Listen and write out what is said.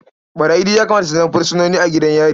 Ɓarayi duk ya kamata su zama fursunoni a gidan yari.